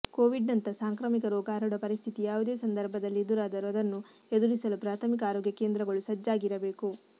ಕೊವಿಡ್ನಂಥ ಸಾಂಕ್ರಾಮಿಕ ರೋಗ ಹರಡುವ ಪರಿಸ್ಥಿತಿ ಯಾವುದೇ ಸಂದರ್ಭದಲ್ಲಿ ಎದುರಾದರೂ ಅದನ್ನು ಎದುರಿಸಲು ಪ್ರಾಥಮಿಕ ಆರೋಗ್ಯ ಕೇಂದ್ರಗಳು ಸಜ್ಜಾಗಿರಬೇಕು